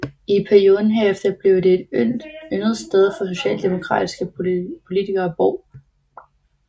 I perioden herefter blev det et yndet sted for socialdemokratiske politikere at bo